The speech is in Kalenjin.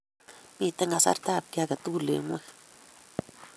Miten kasartab ki tugul eng' ng'wony.